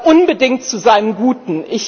unbedingt zu seinem Guten.